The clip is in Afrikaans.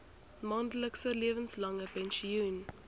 maandelikse lewenslange pensioen